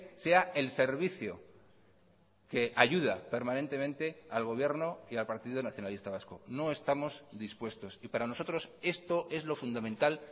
sea el servicio que ayuda permanentemente al gobierno y al partido nacionalista vasco no estamos dispuestos y para nosotros esto es lo fundamental